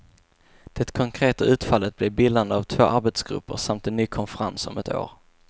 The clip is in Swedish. Det konkreta utfallet blev bildandet av två arbetsgrupper samt en ny konferens om ett år.